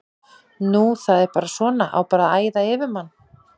Nú það er bara svona, á bara að æða yfir mann?